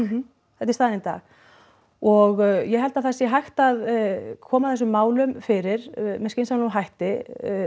þetta er staðan í dag og ég held að það sé hægt að koma þessum málum fyrir með skynsamlegum hætti